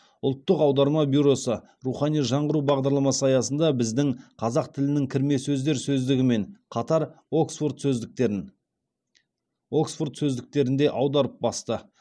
ұлттық аударма бюросы рухани жаңғыру бағдарламасы аясында біздің қазақ тілінің кірме сөздер сөздігімен қатар оксфорд сөздіктерін оксфорд сөздіктерінде аударып басты